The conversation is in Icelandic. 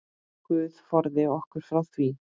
Guð forði okkur frá því.